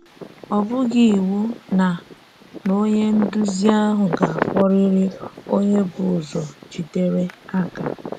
Ọ́ bụghị iwu na na onye nduzi ahụ ga-akpọrịrị onye bú̀ ụzọ jídèrè àká.